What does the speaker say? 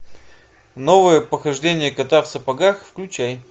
новое похождение кота в сапогах включай